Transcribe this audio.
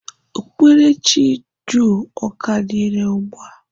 Okpukperechi jụụ ọ ka dị irè ugbu a?